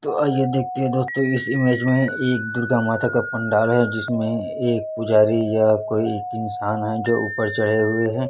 तो आइए देखते हैं दोस्तों इस इमेज में एक दुर्गा माता का पंडाल है जिसमें एक पुजारी या कोई एक इंसान है जो ऊपर चढ़े हुए हैं।